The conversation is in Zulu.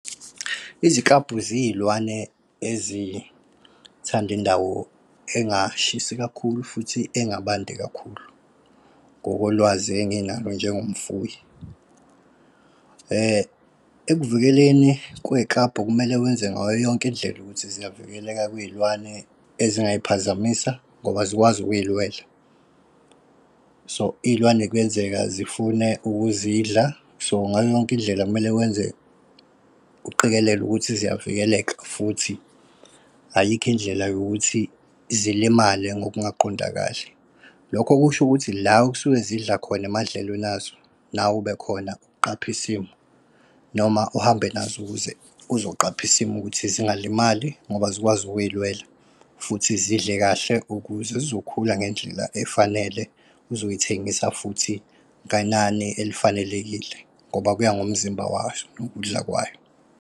Izikabhu ziyilwane ezithanda indawo engashisi kakhulu futhi engabandi kakhulu, ngokolwazi enginalo njengomfuyi. Ekuvikeleni kwey'kabhu kumele wenze ngayo yonke indlela ukuthi ziyavikeleka kwiy'lwane ezingay'phazamisa ngoba azikwazi ukuy'lwela. So iy'lwane kuyenzeka zifune ukuzidla, so ngayo yonke indlela kumele wenze uqikelele ukuthi ziyavikeleka, futhi ayikho indlela yokuthi zilimale ngokungaqondakali. Lokho kusho ukuthi la okusuke zidla khona emadlelweni azo, nawe ube khona uqaphe isimo. Noma uhambe nazo ukuze uzoqapha isimo ukuthi zingalimali ngoba azikwazi ukuy'lwela, futhi zidle kahle ukuze zizokhula ngendlela efanele. Uzoyithengisa futhi ngenani elifanelekile ngoba kuya ngomzimba wayo nokudla kwayo.